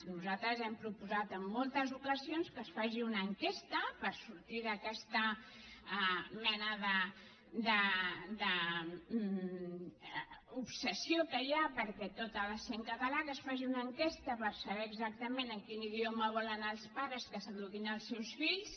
nosaltres hem proposat en moltes ocasions que es faci una enquesta per sortir d’aquesta mena d’obsessió que hi ha perquè tot ha de ser en català que es faci una enquesta per saber exactament en quin idioma volen els pares que s’eduquin els seus fills